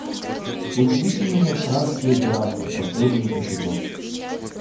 удивительные странствия геракла последний эпизод